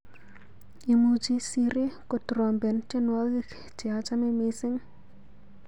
Imuchi Siri kotrompen tyenwogik cheachame missing.